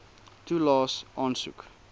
toelaes aansoek